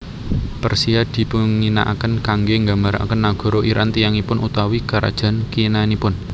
Persia dipunginaaken kanggé nggambaraken nagara Iran tiyangipun utawi karajan kinanipun